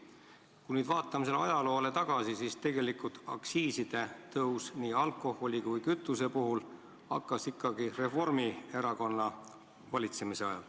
Kui me ajalukku tagasi vaatame, siis näeme, et tegelikult algas aktsiiside tõstmine nii alkoholi kui kütuse puhul ikkagi Reformierakonna valitsemise ajal.